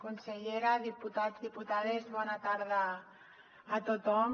consellera diputats i diputades bona tarda a tothom